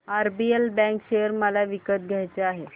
RBL bank share मला विकत घ्यायचे आहेत